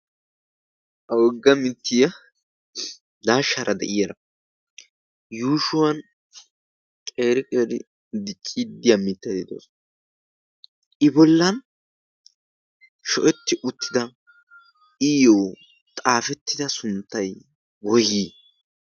awogga mittiya daashshaara de'iyaara yuushuwan qeriqeri di cidi aa mittadi doos i bollan sho'etti uttida iyyo xaafettida sunttay goyii